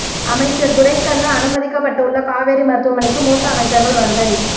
அமைச்சர் துரைக்கண்ணு அனுமதிக்கப்பட்டு உள்ள காவேரி மருத்துவமனைக்கு மூத்த அமைச்சர்கள் வருகை